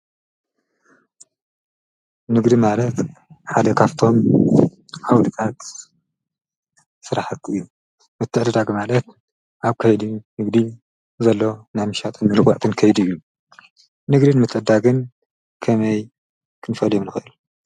ንግድ ማለት ሓደካፍቶም ኣውድቃት ሠራሕቲ እዩ ።ምትዕደዳግ ማለት ኣብ ከይድ ንግዲል ዘሎ ናምሻቶምልዋዕትን ከይድ እዩ ንግድን ምጠዳግን ከመይ ክንፈልየም ንክእል?